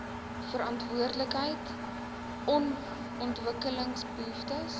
verantwoordelikheid on ontwikkelingsbehoeftes